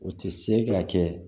U tɛ se ka kɛ